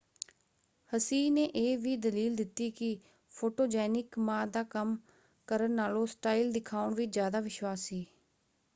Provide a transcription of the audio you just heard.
ਹਸੀਹ ਨੇ ਇਹ ਵੀ ਦਲੀਲ ਦਿੱਤੀ ਕਿ ਫੋਟੋਜੈਨਿਕ ਮਾ ਦਾ ਕੰਮ ਕਰਨ ਨਾਲੋਂ ਸਟਾਈਲ ਦਿਖਾਉਣ ਵਿੱਚ ਜ਼ਿਆਦਾ ਵਿਸ਼ਵਾਸ ਸੀ।